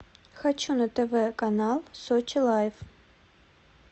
хочу на тв канал сочи лайф